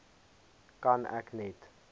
kan ek net